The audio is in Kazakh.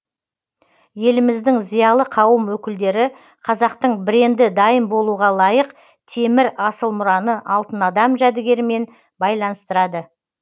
еліміздің зиялы қауым өкілдері қазақтың бренді дайын болуға лайық темір асыл мұраны алтын адам жәдігерімен байланыстырады